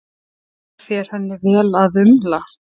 Það fer henni vel að umla.